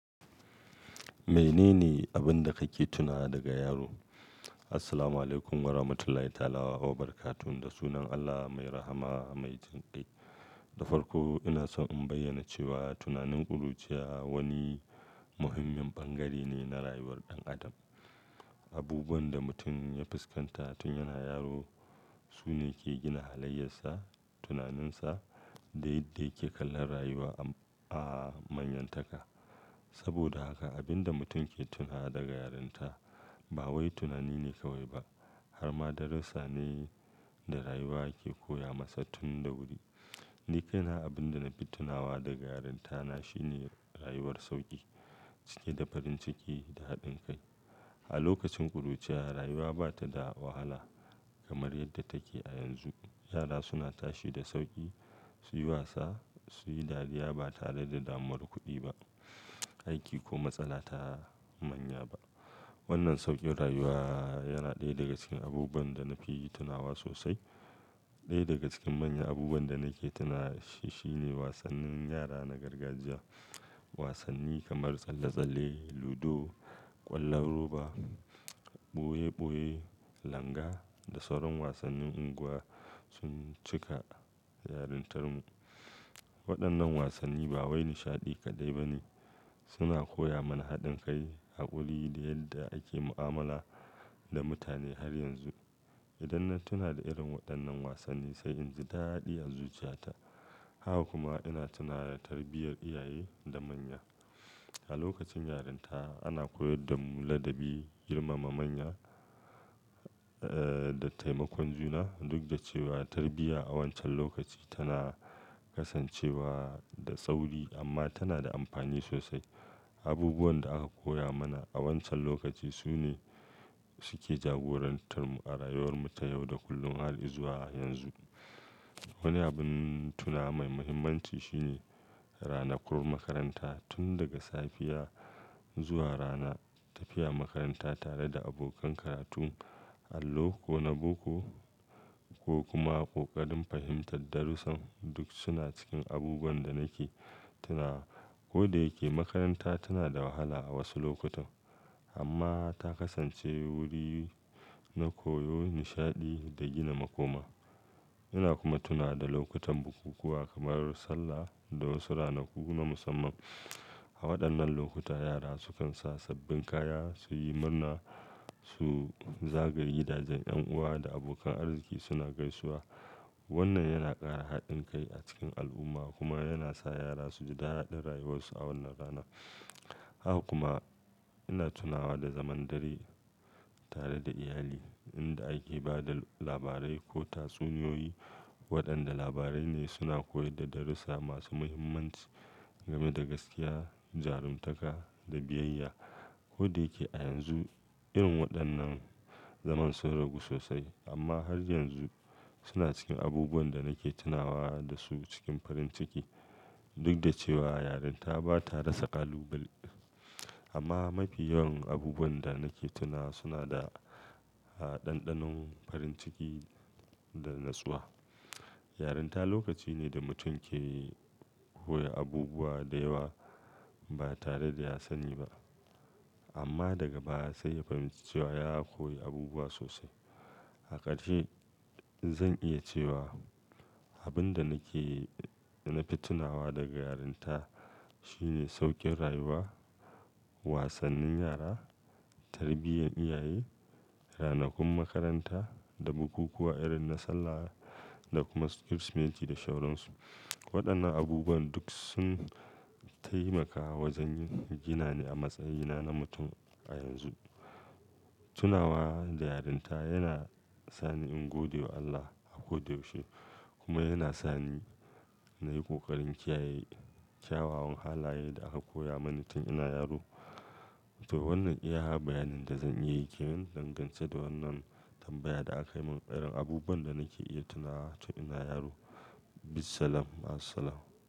Me nene abin da kake tunawa daga yaro? Assalamu alaikum wa rahmatullahi ta'ala wa barakatu. Da sunan Allah mai rahama mai jin ƙai. Da farko ina so in bayyana cewa tunanin ƙuruciya wani muhimmin bangare ne na rayuwar ɗan adam. Abubuwan da mutum ya fuskanta tun yana yaro sune ke gina halayyensa, tunaninsa da yadda yake kallon rayuwa a manyantaka. Saboda haka abin da mutum ke tunawa daga yaronta ba wai tunani ne kawai ba har ma darussane da rayuwa ke koya masa tun da wuri. Nikaina abin da na fi tunawa daga yaranta na shine rayuwar sauƙi, cike da farin ciki da haɗin kai. A lokacin ƙuruciya rayuwa ba ta da wahala kamar yadda take a yanzu. Yara suna tashi da sauƙi, su yi wasa, su yi dariya ba tare da damuwar kuɗi ba, aiki ko matsala ta manya ba. Wannan sauƙin rayuwa yana ɗaya daga cikin abubuwan da na fi tunawa sosai. Ɗaya daga cikin manyan abubuwan da nake tunawa shi shine wasannin yara na gargajiya. Wasanni kamar tsalle-tsalle, ludo, ƙwallon roba, ɓoye-ɓoye, langa da sauran wasannin unguwa sun cika yarantar mu. Waɗannan wasanni ba wai nishaɗi kaɗai ba ne, suna koya mana haɗin kai, haƙuri da yadda ake mu'amala da mutane har yanzu. Idan na tuna da irin waɗannan wasanni sai in ji daɗi a zuciyata. Haka kuma ina tuna da tarbiyyar iyaye da manya. A lokacin yaranta ana koyar da mu ladabi, girmama manya, eh, da taimakon juna. Duk da cewa tarbiyya a wancan lokaci tana kasancewa da tsauri amma tana da amfani sosai. Abubuwan da aka koya mana a wancan lokacin sune suke jagorantar mu a rayuwar mu ta yau da kullum har izuwa yanzu. Wani abin tunawa mai muhimmanci shine ranakun makaranta. Tun daga safiya zuwa rana, tafiya makaranta tare da abokan karatu, allo ko na boko ko kuma ƙoƙarin fahimtar darussan duk suna cikin abubuwan da nake tunawa. Ko da yake makaranta tana da wahala a wasu lokutan amma ta kasance wuri na koyo, nishaɗi da gina makoma. Ina kuma tuna da lokutan bukukuwa kamar Sallah da wasu ranaku na musamman. A waɗannan lokuta yara sukan sa sabbin kaya, su yi murna, su zagaye gidaje, ƴan uwa da abokan arziki suna gaisuwa. Wannan yana ƙara haɗin kai a cikin al'umma kuma yana sa yara su ji daɗin rayuwarsu a wannan rana. Haka kuma ina tunawa da zaman dare tare da iyali inda ake ba da labarai ko tatsuniyoyi. Waɗanda labarai ne suna koyar da darussa masu muhimmanci game da gaskiya, jarumtaka da biyayya. Ko da yake a yanzu irin waɗannan zaman sun ragu sosai amma har yanzu suna cikin abubuwan da nake tunawa da su cikin farin ciki. Duk da cewa yarinta ba ta rasa ƙalubale amma mafi yawan abubuwan da nake tuna suna da, ah, ɗanɗanon farin ciki da natsuwa. Yarinta lokaci ne da mutum ke koyi abubuwa da yawa ba tare da ya sani ba. Amma daga baya sai ya fahimci cewa ya koyi abubuwa sosai. A ƙarshe zan iya cewa abin da nake, na fi tunawa daga yarinta shine sauƙin rayuwa, wasannin yara, tarbiyyar iyaye, ranakun makaranta da bukukuwa irin na Sallah da kuma Kirsimeti da sauransu. Waɗannan abubuwan duk sun taimaka wajen gina ni a matsayina na mutum a yanzu. Tuna wa da yarinta yana sani in gode wa Allah a ko da yaushe kuma yana sani na yi ƙoƙarin kiyaye kyawawan halaye da aka koya mani tun ina yaro. To wannan iya bayanin da zan iya yi ke nan dangance da wannan tambayar da aka yi min, irin abubuwan da nake iya tunawa tun ina yaro. Bissalam, ma'assalam.